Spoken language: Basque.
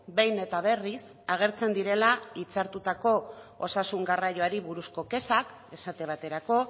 behin eta berriz agertzen direla hitzartutako osasun garraioari buruzko kexak esate baterako